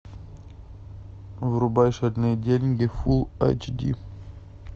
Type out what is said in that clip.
врубай шальные деньги фулл эйч ди